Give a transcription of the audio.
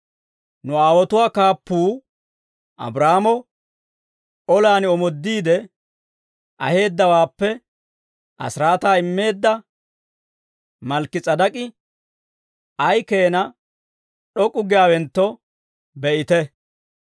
Nu aawotuwaa kaappuu Abraahaamo olaan omoodiide, aheeddawaappe asiraataa immeedda Malkki-S'edek'k'i ay keena d'ok'k'u giyaawentto be'ite.